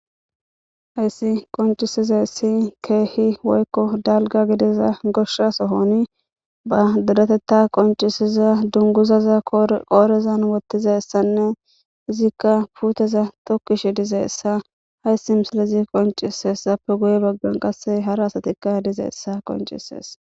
Hayssi qonccissizayssi keehi woykko dalgga gidiza goshsha sohoni ba deretheththaa qonccissiza dungguzaza qoorezan woththizayssanne izikka puutheza thokkishe dizayssa haayssi misilezi qonccisses; appe guye baggan qassi hara asathikka dizayssa qonccissees.